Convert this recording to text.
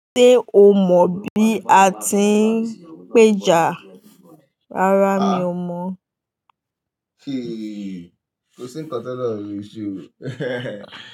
Ṣé o mọ bí a ti ń péja rárá mi ò mọ̀